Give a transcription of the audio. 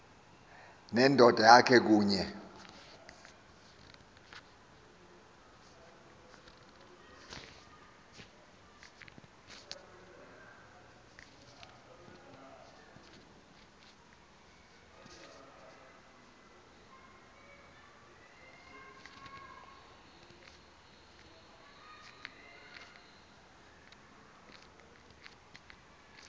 nendoda yakhe kunye